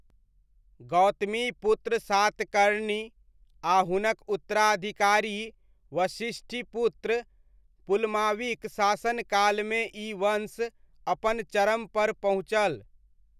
गौतमीपुत्र सातकर्णी आ हुनक उत्तराधिकारी वसिष्ठीपुत्र पुलमावीक शासनकालमे ई वंश अपन चरम पर पहुँचल।